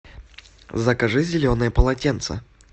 закажи зеленое полотенце